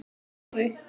Hún trúði